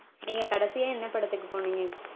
நீங்க கடைசியா என்ன படத்துக்கு போனீங்க?